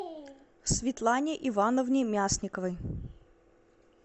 светлане ивановне мясниковой